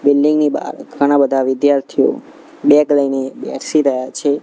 Building ની બાર ઘણા-બધા વિધાર્થીઓ બેગ લઇને બેસી રહ્યા છે.